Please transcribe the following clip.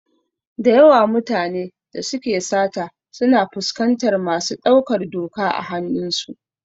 Dayawan mutane da suke sata suna fuskantar masu ɗaukar doka a hanun su.